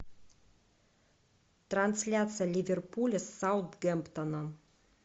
трансляция ливерпуля с саутгемптоном